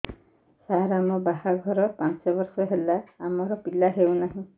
ସାର ଆମ ବାହା ଘର ପାଞ୍ଚ ବର୍ଷ ହେଲା ଆମର ପିଲା ହେଉନାହିଁ